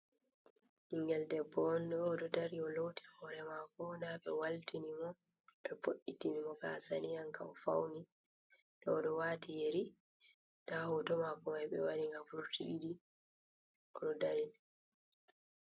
Ɓingel debbo on ɗo o ɗo dari, o loti hore mako, nda ɓe waltini mo be ɓoɗɗi tini mo gasa ni anka o fauni ɗo o ɗo wati yeri, nda hoto mako mai ɓe waari ngam vurti ɗiɗi, o ɗo dari.